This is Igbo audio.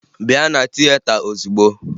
Bịa na tieta ozigbo!